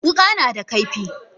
Wuka nada kaifi.